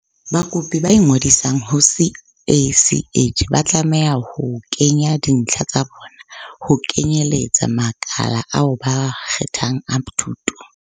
Bakopi ba ingodisang ho CACH ba tlameha ho kenya dintlha tsa bona, ho kenyeletsa makala ao ba a kgethang a thuto.